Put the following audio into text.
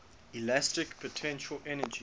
elastic potential energy